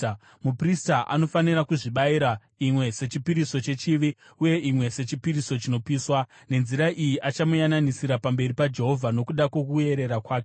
Muprista anofanira kudzibayira, imwe sechipiriso chechivi uye imwe sechipiriso chinopiswa. Nenzira iyi achamuyananisira pamberi paJehovha nokuda kwokuerera kwake.